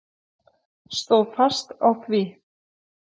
Stóð fast á því.